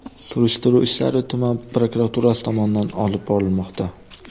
Surishtiruv ishlari tuman prokuraturasi tomonidan olib borilmoqda.